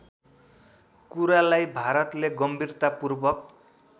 कुरालाई भारतले गम्भीरतापूर्वक